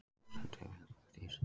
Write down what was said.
Þú stendur þig vel, Guðdís!